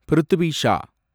Prithvi Shah